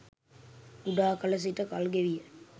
කුඩා කල සිට කල්ගෙවීය